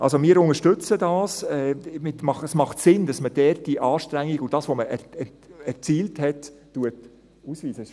Also: Wir unterstützen das, es macht Sinn, dass man dort die Anstrengung und das, was man erzielt hat, ausweist.